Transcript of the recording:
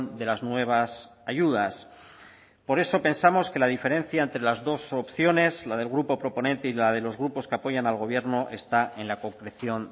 de las nuevas ayudas por eso pensamos que la diferencia entre las dos opciones la del grupo proponente y la de los grupos que apoyan al gobierno está en la concreción